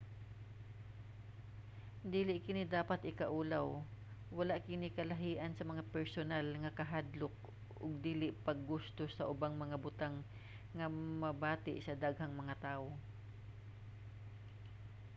dili kini dapat ikaulaw: wala kini kalahian sa mga personal nga kahadlok ug dili pag-gusto sa ubang mga butang nga mabati sa daghang mga tawo